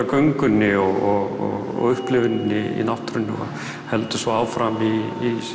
göngunni og upplifuninni í náttúrunni heldur svo áfram í